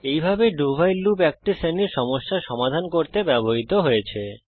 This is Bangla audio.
এইভাবে do ভাইল লুপ এক শ্রেণীর সমস্যা সমাধান করতে ব্যবহৃত হয়েছে